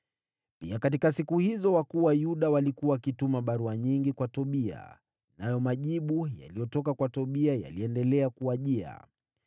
Pia katika siku hizo wakuu wa Yuda walikuwa wakituma barua nyingi kwa Tobia, nayo majibu yaliyotoka kwa Tobia yaliendelea kuwajia.